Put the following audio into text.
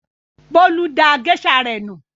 Bólú da géíṣà rẹ̀ nù.